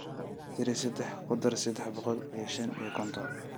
tiri saddex ku dar saddex boqol iyo shan iyo konton